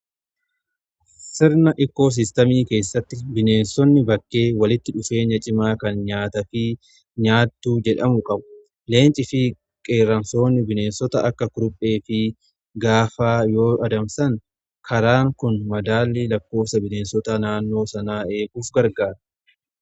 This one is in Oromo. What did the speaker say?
Sirna ikkoo siistamii keessatti bineensonni bakkee walitti dhufeenya cimaa kan nyaata fi nyaattuu jedhamu qabu. Leenci fi qeeramsoonni bineensota akka kuruphee fi gaafaa yoo adamsan karaan kun madaallii lakkoofsa bineensota naannoo sanaa eeguuf gargaara.